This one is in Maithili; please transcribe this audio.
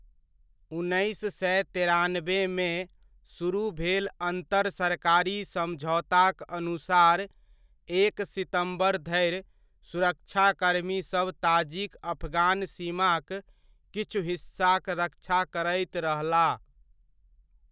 उन्नैस सए तेरानबेमे, सुरुह भेल अन्तर सरकारी समझौताक अनुसार एक सितम्बर धरि सुरक्षाकर्मी सभ ताजिक अफगान सीमाक किछु हिस्साक रक्षा करैत रहलाह।